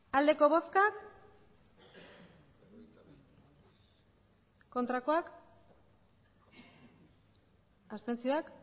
emandako botoak hirurogeita hamairu bai